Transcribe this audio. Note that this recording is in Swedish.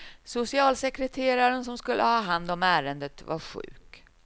Socialsekreteraren som skulle ha hand om ärendet var sjuk.